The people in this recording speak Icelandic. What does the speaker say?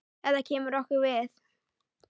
Þetta kemur okkur við.